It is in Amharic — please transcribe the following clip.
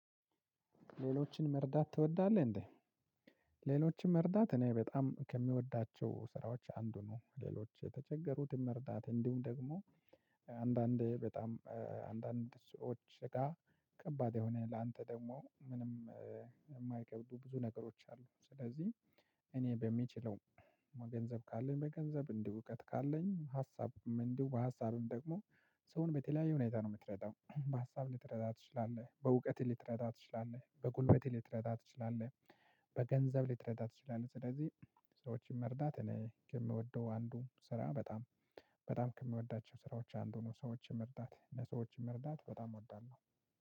ሌሎችን መርዳት ትወዳለህ እንዴ? ሌሎችን መርዳት እኔ በጣም ከምወዳቸው ስራዎች አንዱ ነው። ሌሎች የተቸገሩን መርዳት እንዲሁም ደግሞ አንዳንዴ በጣም አንዳንድ ሰዎች ጋር ከባድ የሆነ ላንተ ደግሞ ምንም የማይከብዱ ብዙ ነገሮች አሉ። ስለዚህ እኔ በምችለው በገንዘብ ካለኝ በገንዘብ እንዲሁ እውቀት ካለኝ ሀሳብ እንዲሁ በሀሳብም ደግሞ ሰውን በተለያየ ሁኔታ ነው የምትረዳው በሀሳብ ልትረዳ ትችላለህ በእውቀትህ ልትረዳ ትችላለህ በጉልበትህ ልትረዳ ትችላለህ። በገንዘብ ልትረዳ ትችላለህ። ስለዚህ ሰዎችን መርዳት እኔ የምወደው አንዱ ስራ በጣም በጣም ከምወዳቸው ስራዎች አንዱ ነው። ሰዎችን መርዳት ለሰዎችን መርዳት በጣም እወዳለሁ።